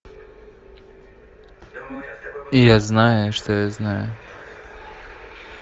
я знаю что я знаю